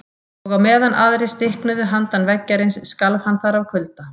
Og á meðan aðrir stiknuðu handan veggjarins skalf hann þar af kulda.